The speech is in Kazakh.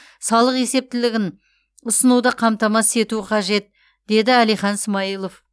салық есептілігін ұсынуды қамтамасыз ету қажет деді әлихан смайылов